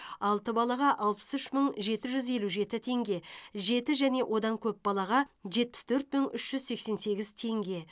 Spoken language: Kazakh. алты балаға алпыс үш мың жеті жүз елу жеті теңге жеті және одан көп балаға жетпіс төрт мың үш жүз сексен сегіз теңге